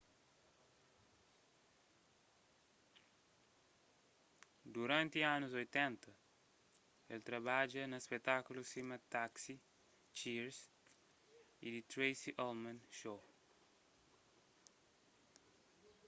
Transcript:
duranti anus 80 el trabadja na spetákulus sima taxi cheers y the tracy ullman show